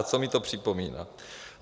A co mi to připomíná?